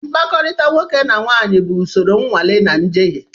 Mkpakọrịta nwoke na nwanyị bụ usoro nnwale na njehie.